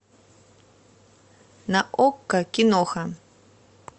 на окко киноха